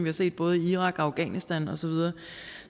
har set både i irak og afghanistan og så videre